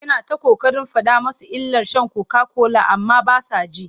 Yana ta ƙoƙarin faɗa musu illar sha kokakola amma ba sa ji.